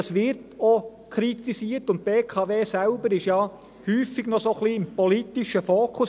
Das wird auch kritisiert, und die BKW selber ist häufig noch etwas im politischen Fokus.